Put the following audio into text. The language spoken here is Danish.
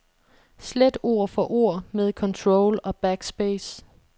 Slet ord for ord med control og backspace.